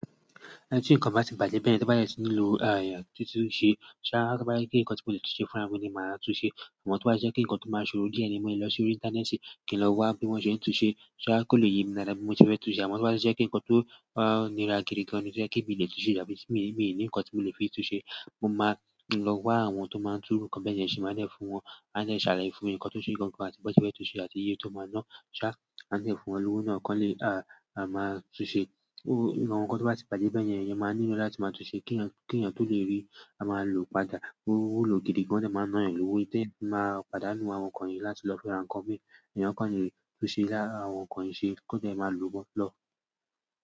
Ti ìkań bà tí ìbàjẹ́ bẹ́ẹ̀ ni tó bá yẹ sí nílò láti tún un ṣe. Ṣa tó bá yẹ kí ǹkan tó lè túnṣe fúnra mi ni máa túnṣe? Amo tó bá ṣe kí ǹkan tó máa ṣorò di ẹni mọ́ lọ sí orí Íńtánẹ́ẹ̀tì kí n lọ wá bí wọ́n ṣe ń túnṣe. Ṣa àkọ́lé ye mi dára bí mo ti fẹ́ túnṣe? Awọn tó bá ṣe kí ǹkan tó wà níra gidigan ni kan ní ó ṣe kí mi lè túnṣe, ìjà mi sì mi ò ní ǹkan tí mo lè fi túnṣe. Mo máa lọ wá àwọn tó máa ń tún ǹkan bẹ́ẹ̀ ṣe máa ǹ fún wọn. A máa ṣàlàyé fún un ǹkan tó ṣe gangan bí wọ́n ti fẹ́ túnṣe àti iye tó máa ná. Ṣa lè fún wọn lówó náà kí wọ́n lè à máa túnṣe? Ó ǹkan tó bá ti bàjẹ́ bẹ́ẹ̀ yẹn, ẹ̀yẹn máa nílò láti máa túnṣe kí ẹ̀yàn tó lè rí máa lòó padà. Owu lo gidigan nikan jẹ́ máa ná ẹ lówó, tí ẹ́ máa padà mú àwọn ǹkan yìí láti lọ fúnra ǹkan bí ẹni ǹkan yìí túnṣe láti àwọn ǹkan yìí ṣe kó jẹ́ ẹ máa lòó lọ.